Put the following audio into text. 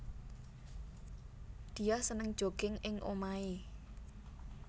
Diah seneng jogging ing omahé